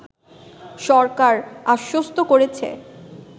সরকার আশ্বস্ত করেছে